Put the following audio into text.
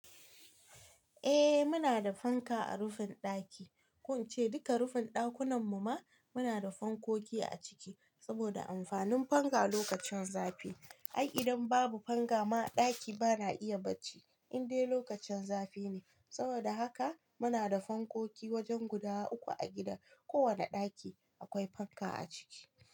Eh muna da fanka a rufin ɗaki, ko in ce duka rufin ɗakunan mu ma muna da fankoki a ciki, saboda amfanin fanka lokacin zafi. Ai idan babu fanka ma ɗaki bana iya barci in dai lokacin zafi ne. Saboda haka muna da fankoki wajen guda uku a gida. Ko wane ɗaki akwai fanka a ciki.